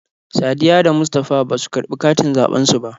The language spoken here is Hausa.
Sadiyya da Mustapha basu karɓi katin zaɓen su ba.